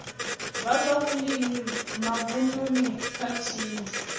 vha zwa vhulimi mavununi khathihi